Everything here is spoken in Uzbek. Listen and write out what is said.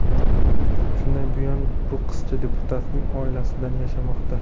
Shundan buyon bu qizcha deputatning oilasida yashamoqda.